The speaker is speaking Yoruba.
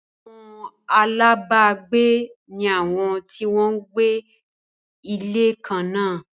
Àwọn alábágbé ní àwọn tí wọ́n ń gbé ilé kan náà